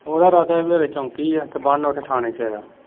ਉਹਦਾ ਇਰਾਦਾ ਹੀ ਖਰੇ ਚੋਂਕੀ ਹੈ ਤੇਬੰਨ ਉੱਥੇ ਥਾਣੇ ਚ ਆਇਆ।